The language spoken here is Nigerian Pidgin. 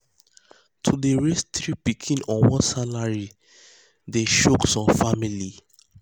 to dey raise three pikin on one salary dey one salary dey choke some family.